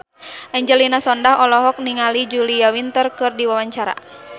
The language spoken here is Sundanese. Angelina Sondakh olohok ningali Julia Winter keur diwawancara